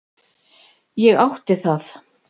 Ég átti það.